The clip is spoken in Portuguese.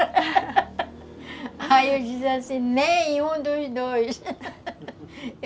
Aí eu digo assim, nenhum dos dois